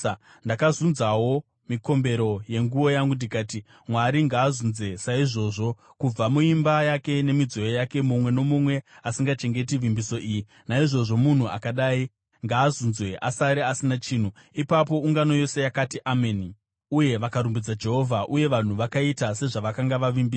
Ndakazunzawo mikombero yenguo yangu ndikati, “Mwari ngaazunze saizvozvi kubva muimba yake nemidziyo yake, mumwe nomumwe asingachengeti vimbiso iyi. Naizvozvo, munhu akadai ngaazunzwe asare asina chinhu.” Ipapo ungano yose yakati, “Ameni,” uye vakarumbidza Jehovha. Uye vanhu vakaita sezvavakanga vavimbisa.